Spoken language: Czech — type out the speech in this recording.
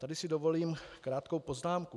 Tady si dovolím krátkou poznámku.